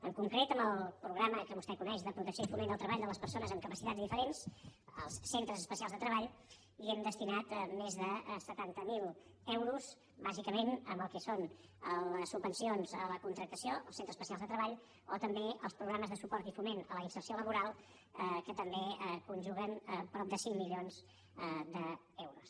en concret amb el programa que vostè coneix de protecció i foment del treball de les persones amb capacitats diferents als centres especials de treball hi hem destinat més de setanta miler euros bàsicament al que són les subvencions a la contractació als centres especials de treball o també als programes de suport i foment a la inserció laboral que també conjuguen prop de cinc milions d’euros